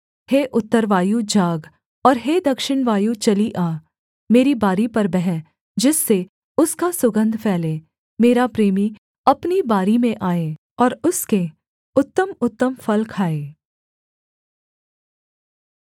हे उत्तर वायु जाग और हे दक्षिण वायु चली आ मेरी बारी पर बह जिससे उसका सुगन्ध फैले मेरा प्रेमी अपनी बारी में आए और उसके उत्तमउत्तम फल खाए